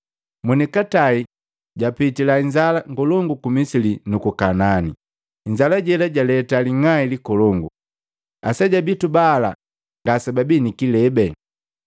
Monikatai japitila inzala ngolongu ku Misili nuku Kaanani, inzala jela jaleta ling'ai likolongu. Aseja bitu bala ngasebabii nikilebe,